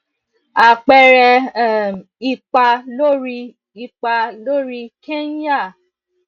apeere um ipa lórí ipa lórí kenya